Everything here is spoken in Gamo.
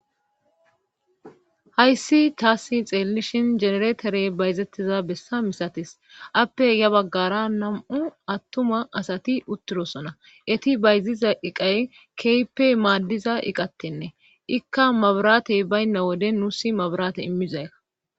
hayssi taassi xeellishin jenereeterey bayzettiza bessa misatis appe ya baggara nam7u attuma asati uttirosona eti bayziza iqay keyppey maaddiza iqattenne ikka mabraatey baynna wode nuusi mabraate immizaykka